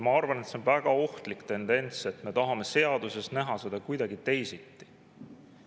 Ma arvan, et see on väga ohtlik tendents, et me tahame seaduses näha seda kuidagi teisiti.